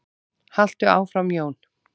Haltu áfram Jón!